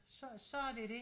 Så så det dét